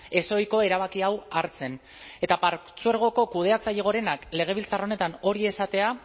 ezohiko erabaki hau hartzen eta partzuergoko kudeatzaile gorenak legebiltzar honetan hori esatea